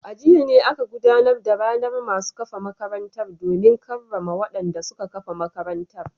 A jiya ne aka gudanar da ranar masu kafa makarantar domin karrama wadanda suka kafa makarantar.